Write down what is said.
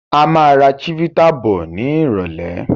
A máa ra chivita bọ̀ ni irọ̀lẹ́